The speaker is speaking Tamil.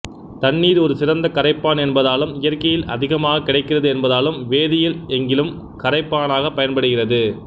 தண்ணீர் ஒரு சிறந்த கரைப்பான் என்பதாலும் இயற்கையில் அதிகமாக கிடைக்கிறது என்பதாலும் வேதியியல் எங்கிலும் கரைப்பானாகப் பயன்படுகிறது